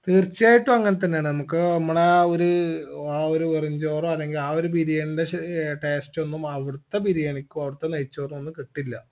തീർച്ചയായിട്ടും അങ്ങൻതന്നെയാണ് നമ്മക്ക് മ്മളെ ആ ഒരു ആ ഒരു ബെറുംചോർ അല്ലെങ്കി ആ ഒരു ബിരിയാണിൻറെ ശ് ഏർ taste ഒന്നുമവടത്തെ ബിരിയാണിക്കും അവിടത്തെ നെയ്‌ച്ചോറൊന്നും കിട്ടില്ല